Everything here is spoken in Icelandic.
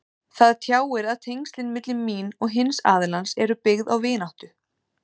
Það tjáir að tengslin milli mín og hins aðilans eru byggð á vináttu.